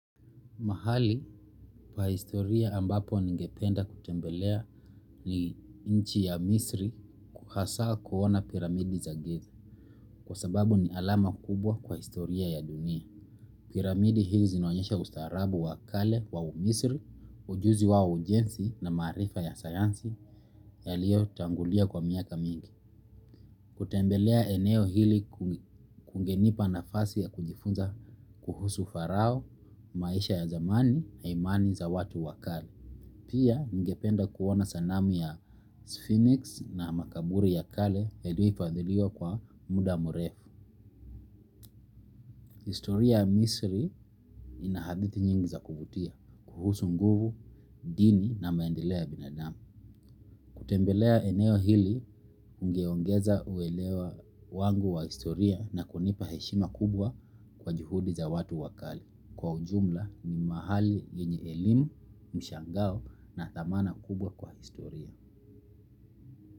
Mahali kwa historia ambapo ningependa kutembelea ni inchi ya misri kuhasa kuona piramidi za giza. Kwa sababu ni alama kubwa kwa historia ya dunia. Piramidi hizi zinonyesha ustaarabu wa kale wa umisri, ujuzi wao ujensi na maarifa ya sayansi yaliyo tangulia kwa miaka mingi. Kutembelea eneo hili kungenipa nafasi ya kujifunza kuhusu farao, maisha ya zamani, haimani za watu wakale. Pia nigependa kuona sanami ya sphynix na makaburi ya kale eduipadhiliwa kwa muda murefu. Historia ya Misri inahadithi nyingi za kuvutia kuhusu nguvu, dini na maendeleo ya binadamu. Kutembelea eneo hili ungeongeza uelewa wangu wa historia na kunipa heshima kubwa kwa juhudi za watu wakali. Kwa ujumla ni mahali yenye elimu, mshangao na thamana kubwa kwa historia.